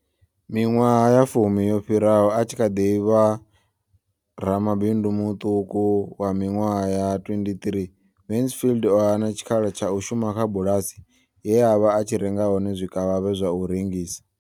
Miṅwaha ya fumi yo fhiraho, a tshi kha ḓi vha ramabindu muṱuku wa miṅwaha ya 23, Mansfield o hana tshikhala tsha u shuma kha bulasi ye a vha a tshi renga hone zwikavhavhe zwa u rengisa.